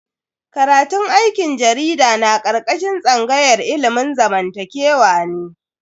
Karatun aikin jarida na karkashin tsangayar ilimin zamantakewa ne.